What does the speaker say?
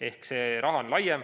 Ehk see on laiem.